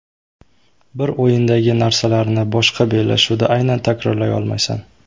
Bir o‘yindagi narsalarni boshqa bellashuvda aynan takrorlay olmaysan.